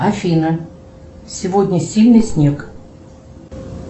афина сегодня сильный снег